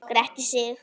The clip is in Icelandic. Gretti sig.